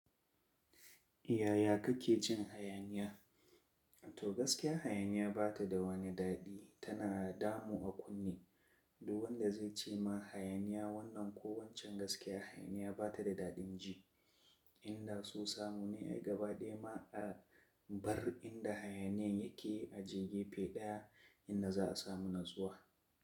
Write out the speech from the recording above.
Yaya kake cin hayaniya? To gaskiya hayaniya ba ta da wani daɗi, tana damu a kunne. Duk wanda zai ce ma hayaniya wannan ko waccan gaskiya hayaniya ba ta da daɗin ji. Inda su samu ne ai gabaɗaya ma a bar inda hayaniyan yake aje gefe ɗya inda za a samu natsuwa.